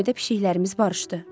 Gəmidə pişiklərimiz barışdı.